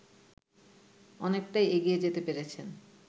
অনেকটাই এগিয়ে যেতে পেরেছেন